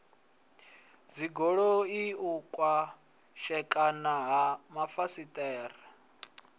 dzigoloi u pwashekana ha mafasiṱere